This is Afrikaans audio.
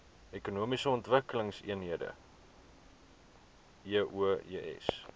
ekonomiese ontwikkelingseenhede eoes